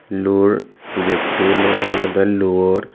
luor getto luo olodey luor.